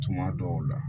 Tuma dɔw la